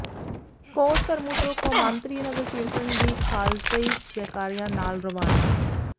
ਕੋਟ ਧਰਮੂ ਤੋਂ ਕੌਮਾਂਤਰੀ ਨਗਰ ਕੀਰਤਨ ਦੀ ਖ਼ਾਲਸਈ ਜੈਕਾਰਿਆਂ ਨਾਲ ਰਵਾਨਾ